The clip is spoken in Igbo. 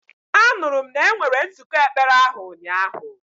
Anụrụ m na enwere nzụkọ ekpere ahụ ụnyahụ.